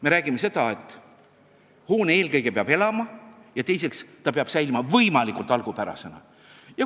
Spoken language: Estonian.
Me räägime seda, et eelkõige peab hoone elama, alles teisene eesmärk on, et ta peab säilima võimalikult algupärasena.